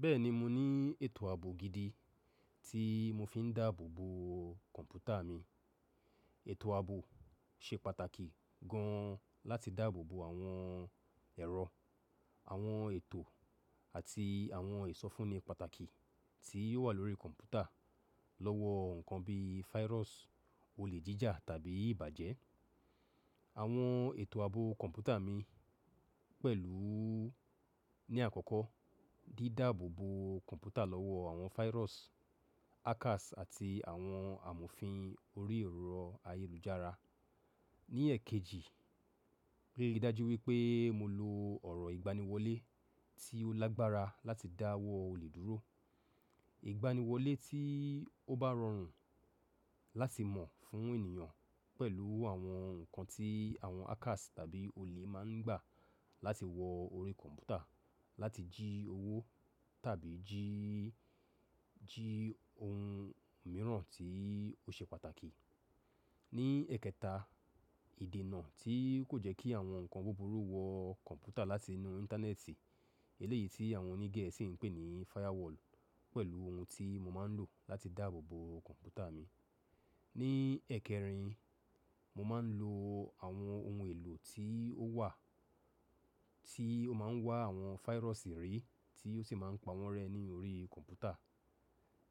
Bẹ́ẹ̀ni mo ní ètò ààbò gidi tí mo fi ń dáàbò bo kọ̀ǹpútà mi. Ètò ààbò ṣe pàtàkì gan láti dáàbò bo àwọn ẹ̀rọ, àwọn ètò àti àwọn ìsọfúnni pàtàkì tí ó wà lórí kọ̀ǹpútà lọ́wọ́ nǹkan bí fáyírọ́sù, olè jíjà tàbí ìbàjẹ́. Àwọn ètò ààbò kọ̀ǹpútà mi pẹ̀lú ní àkọ́kọ́, dídáàbò bo kọ̀ǹpútà lọ́wọ́ àwọn fáyírọ́sù, hackers àti àwọn àmùfin orí ẹ̀rọ ayélujára. Ní èkejì, ríi dájú wípé mo lo ọ̀rọ̀ ìgbaniwọlé tí ó lágbára láti dáwọ́ olè dúró. Ìgbaniwọlé tí ó bá rọrùn láti mọ̀ fún ènìyàn pẹ̀lú àwọn nǹkan tí àwọn hackers tàbí olè máa ń gbà láti wọ orí kọ̀ǹpútà láti jí owó tàbí jí, jí ohun mìíràn tí ó ṣe pàtàkì. Ní ẹ̀kẹta, ìdènà tí kò jẹ́ kí àwọn nǹkan búburú wọ kọ̀ǹpútà láti inú Íńtánẹ́ẹ̀tì. Eléyìí tí àwọn oní Gẹ̀ẹ́sì ń pè ní firewall pẹ̀lú ohun tí mo máa ń lò láti dáàbò bo kọ̀ǹpútà mi. Ní ẹ̀kẹrin, mo máa ń lo àwọn ohun èlò tí ó wà tí ó máa ń wá àwọn fáyírọ́sù rí tí ó sì máa ń pa wọ́n rẹ́ ní orí kọ̀ǹpútà.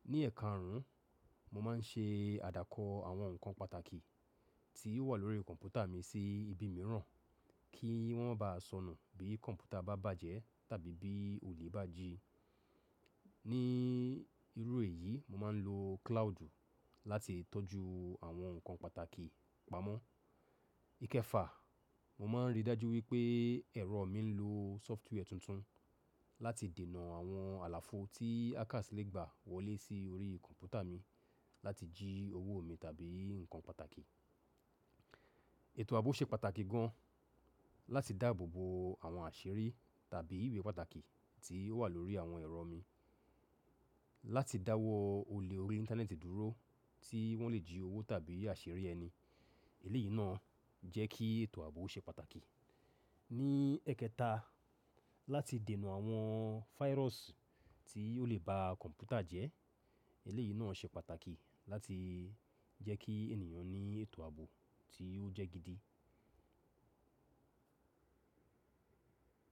Ní ẹ̀karùn, mo máa ń ṣe àdàkọ àwọn nǹkan pàtàkì tí ó wà lórí kọ̀ǹpútà mi sí ibi mìíràn kí wọ́n máa ba sọnù bí kọ̀ǹpútà bá bàjẹ́ tàbí bí olè bá jí. Ní irú èyí, mo máa ń lo cloud láti tọ́jú àwọn nǹkan pàtàkì pamọ́. Íkẹfà, mo máa ń ríi dájú wípé ẹ̀rọ mi ń lo sófútíwẹ̀ tuntun láti dènà àwọn àlàfo tí hackers lè gbà wọlé sí orí kọ̀ǹpútà mi láti jí owó mi tàbí nǹkan pàtàkì. Ètò ààbò ṣe pàtàkì gan láti dáàbò bo àwọn àṣírí tàbí ìwé pàtàkì tí ó wà lórí àwọn ẹ̀rọ mi. Láti dáwọ́ olè orí Íńtánẹ́ẹ̀tì dúró tí wọ́n lè jí owó tàbí àṣírí ẹni. Eléyìí náà jẹ́ kí ètò ààbò ṣe pàtàkì. Ní ẹ̀kẹta, láti dènà àwọn fáyírọ́sù tí ó lè ba kọ̀ǹpútà jẹ́. Eléyìí náà ṣe pàtàkì láti jẹ́ kí ènìyàn ní ètò ààbò tí ó jẹ́ gidi.